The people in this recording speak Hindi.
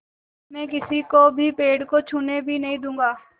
मैं किसी को भी पेड़ को छूने भी नहीं दूँगा